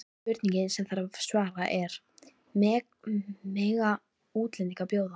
Spurningin sem þarf að svara er: Mega útlendingar bjóða?